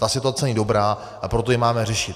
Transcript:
Ta situace není dobrá, a proto ji máme řešit.